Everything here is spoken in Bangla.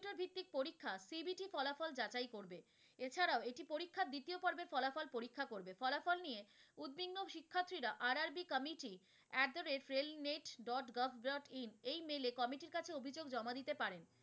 পরিক্ষা CBC ফলাফল যাচাই করবে এছাড়াও এটি পরিক্ষার দ্বিতীয় পরবের ফলাফল পরিক্ষা করবে, ফলাফল নিয়ে উতবিঙ্গ শিক্ষার্থীরা RRB committee at the rail net dot gov dot in এই mail এ committee ইর কাছে অভিযোগ জমা দিতে পারেন।